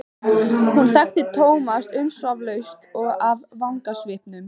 Hún þekkti Thomas umsvifalaust af vangasvipnum.